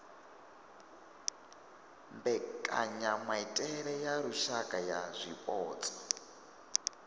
mbekanyamaitele ya lushaka ya zwipotso